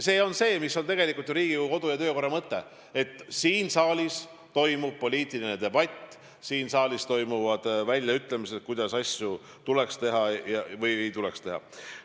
See ju tegelikult on Riigikogu kodu- ja töökorra mõte, et siin saalis toimub poliitiline debatt, et siin saalis saab välja öelda, kuidas asju tuleks teha või ei tuleks teha.